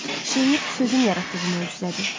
Şeir sözün yaratdığı möcüzədir.